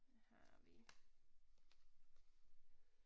Har vi